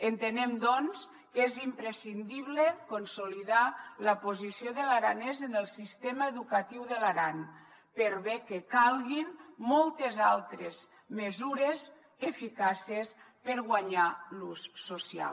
entenem doncs que és imprescindible consolidar la posició de l’aranès en el sistema educatiu de l’aran per bé que calguin moltes altres mesures eficaces per guanyarne l’ús social